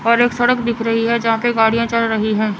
और एक सड़क दिख रही है जहां पे गाड़ियां चल रही है।